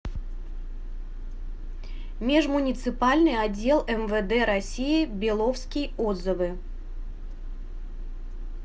межмуниципальный отдел мвд россии беловский отзывы